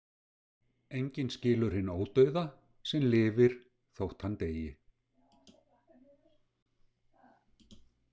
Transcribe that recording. Enginn skilur hinn ódauða sem lifir þótt hann deyi.